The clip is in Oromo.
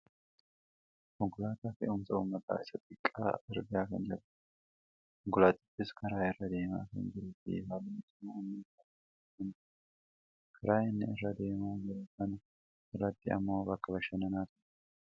Konkolaataa fe'umsa uummataa isa xiqqaa argaa kan jirrudha. Konkolaatichis karaa irra deemaa kan jiruufi halluun isaa ammoo halluu adii kan ta'edha. Karaa inni irra deemaa jiru kana irratti ammoo bakka bashannanaatu argama.